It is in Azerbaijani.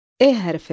E hərfi.